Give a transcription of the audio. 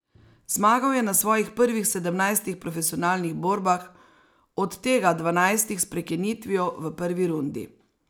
Zmagal je na svojih prvih sedemnajstih profesionalnih borbah, od tega dvanajstih s prekinitvijo v prvi rundi.